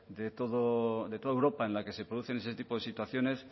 de toda europa en la que se producen ese tipo de situaciones